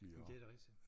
Men det da rigtigt